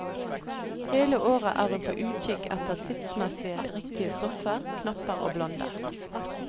Hele året er hun på utkikk etter tidsmessige, riktige stoffer, knapper og blonder.